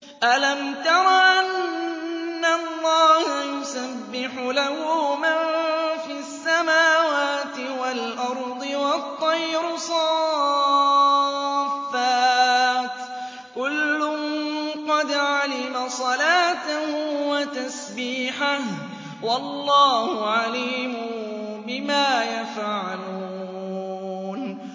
أَلَمْ تَرَ أَنَّ اللَّهَ يُسَبِّحُ لَهُ مَن فِي السَّمَاوَاتِ وَالْأَرْضِ وَالطَّيْرُ صَافَّاتٍ ۖ كُلٌّ قَدْ عَلِمَ صَلَاتَهُ وَتَسْبِيحَهُ ۗ وَاللَّهُ عَلِيمٌ بِمَا يَفْعَلُونَ